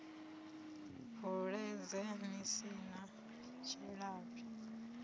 bvuledze ni si na tshilavhi